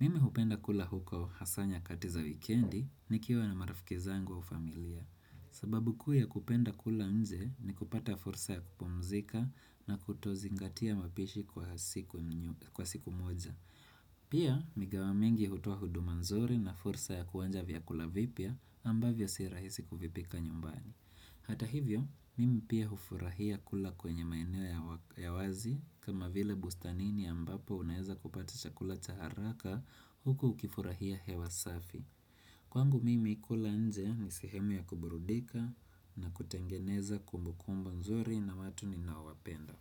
Mimi hupenda kula huko hasa nyakati za wikendi nikiwa na marafiki zangu au familia. Sababu kuuya kupenda kula nje ni kupata fursa ya kupumzika na kutozingatia mapishi kwa siku moja Pia mikahawa mingi hutoa huduma nzuri na fursa ya kuonja vyakula vipya ambavyo si rahisi kuvipika nyumbani. Hata hivyo, mimi pia hufurahia kula kwenye maeneo ya wazi kama vile bustanini ambapo unaeza kupata chakula cha haraka huku ukifurahia hewa safi Kwangu mimi kula nje ni sehemu ya kuburudika na kutengeneza kumbukumbu nzuri na watu ninaowapenda.